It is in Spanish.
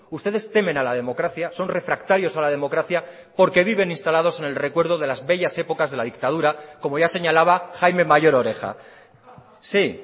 ustedes temen a la democracia son refractarios a la democracia porque viven instalados en el recuerdo de las bellas épocas de la dictadura como ya señalaba jaime mayor oreja sí